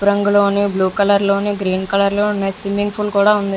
రంగులోనే blue colour లోని green colour లో ఉన్న స్విమ్మింగ్ పూల్ కూడా ఉంది.